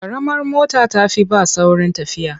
Ƙaramar mota ta fi bas saurin tafiya.